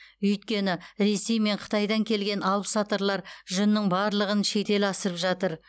өйткені ресей мен қытайдан келген алыпсатарлар жүннің барлығын шетел асырып жатыр